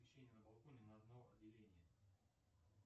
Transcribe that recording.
освещение на балконе на одно деление